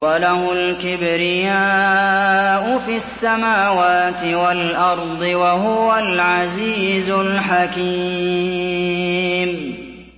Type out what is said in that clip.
وَلَهُ الْكِبْرِيَاءُ فِي السَّمَاوَاتِ وَالْأَرْضِ ۖ وَهُوَ الْعَزِيزُ الْحَكِيمُ